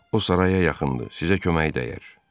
O saraya yaxındır, sizə kömək dəyər.